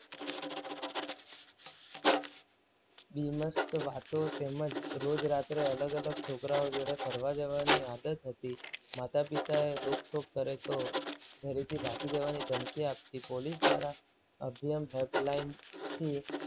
બીબસ્ત વાતો તેમજ રોજ રાતે અલગ અલગ છોકરાઓ જોડે ફરવા જવાની આદત હતી. માતા પિતાએ રોકટોક કરે તો ઘરેથી ભાગી જવાની ધમકી આપતી. પોલીસ દ્વારા અભયમ હેલ્પલાઇન થી